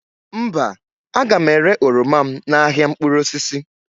mba, a ga m ere oroma m n’ahịa mkpụrụ osisi